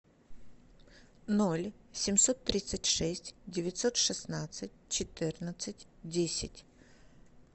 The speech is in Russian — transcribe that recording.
ноль семьсот тридцать шесть девятьсот шестнадцать четырнадцать десять